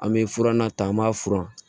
An bɛ furanna ta an b'a furan